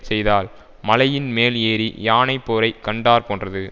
செய்தால் மலையின் மேல் ஏறி யானை போரை கண்டாற் போன்றது